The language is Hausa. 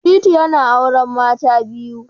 Shittu yana auren mata biyu